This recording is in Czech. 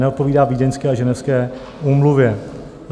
Neodpovídá Vídeňské a Ženevské úmluvě.